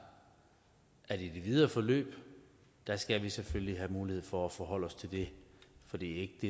at i det videre forløb skal vi selvfølgelig have mulighed for at forholde os til det for det